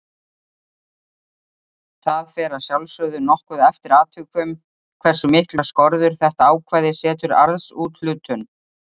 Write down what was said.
Það fer að sjálfsögðu nokkuð eftir atvikum hversu miklar skorður þetta ákvæði setur arðsúthlutun.